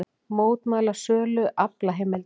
Mótmæla sölu aflaheimilda